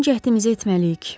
Son cəhdimizi etməliyik.